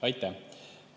Aitäh!